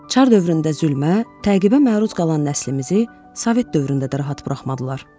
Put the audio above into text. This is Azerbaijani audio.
Çar dövründə zülmə, təqibə məruz qalan nəslimizi sovet dövründə də rahat buraxmadılar.